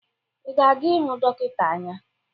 Ị na-aga ịhụ dọkịta anya?